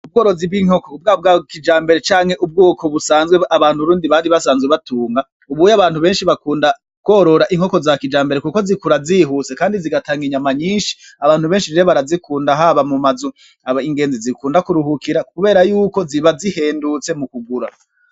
Ubworozi bw'inkoko bwaba ubwa kijambere canke ubwoko busanzwe abarundi bari basanzwe batunga, ubu abantu benshi bakunda korora inkoko za kijambere kuko zikura zihuse kandi zitanga inyama nyinshi, abantu benshi rero barazikunda haba mum'amazu ingenzi zikunda kuruhukira kubera ziba zihendutse kugura.